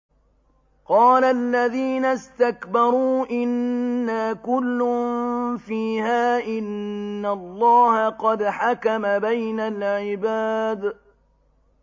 قَالَ الَّذِينَ اسْتَكْبَرُوا إِنَّا كُلٌّ فِيهَا إِنَّ اللَّهَ قَدْ حَكَمَ بَيْنَ الْعِبَادِ